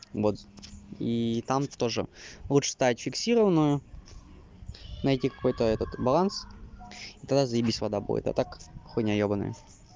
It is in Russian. вот и там тоже лучше ставить фиксированную найти какой-то этот баланс и тогда заебись вода будет а так хуйня ёбанная